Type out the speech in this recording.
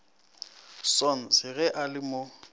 sons ge a le mo